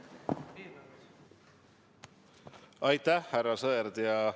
Aitäh, härra Sõerd!